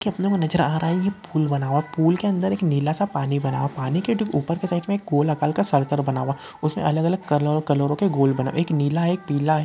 कितने को नजर आ रही है फूल बना। पूल के अंदर एक नीला सा पानी भरा। पानी के ऊपर के साइड में गोल अकार का सरकाल बना हुआ। उसमें अलग अलग कालो कलर के गोल बना एक नीला एक पीला है।